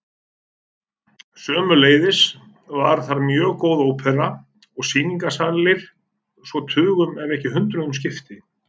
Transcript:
Sömuleiðis var þar mjög góð ópera og sýningarsalir svo tugum ef ekki hundruðum skipti.